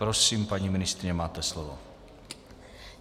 Prosím, paní ministryně, máte slovo.